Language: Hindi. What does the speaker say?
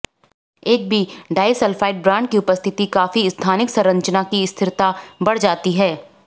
एक भी डाइसल्फ़ाइड बांड की उपस्थिति काफी स्थानिक संरचना की स्थिरता बढ़ जाती है